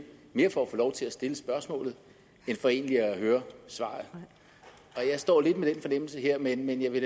mere for at få lov til at stille spørgsmålet end for egentlig at høre svaret og jeg står lidt med den fornemmelse her men jeg vil